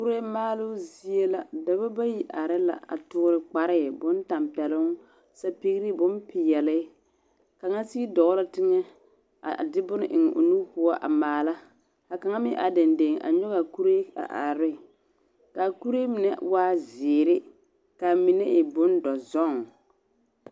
Kuree maaloo zie la, dͻbͻ bayi are la a toore kparee bontampԑloŋ, sapigiri bompeԑle. Kaŋ sigi dͻͻ la teŋԑ a de bone a eŋ o nu poͻ a maala. Ka kaŋa meŋ are dendeŋ a nyͻge a kuree a are ne. ka a kuree mine a waa zeere, ka a mine e bondͻzͻŋ.